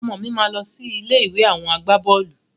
Ọmọ mi máa lọ sí ilé ìwé àwọn agbaboolu